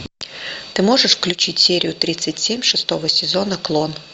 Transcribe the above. ты можешь включить серию тридцать семь шестого сезона клон